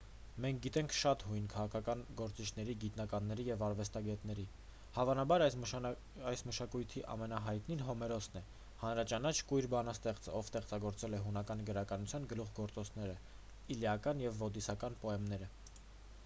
մենք գիտենք շատ հույն քաղաքական գործիչների գիտնականների և արվեստագետների հավանաբար այս մշակույթի ամենահայտնին հոմերոսն է հանրաճանաչ կույր բանաստեղծը ով ստեղծագործել է հունական գրականության գլուխգործոցները իլիական և ոդիսական պոեմները